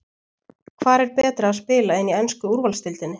Hvar er betra að spila en í ensku úrvalsdeildinni?